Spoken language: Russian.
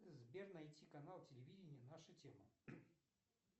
сбер найти канал телевидения наша тема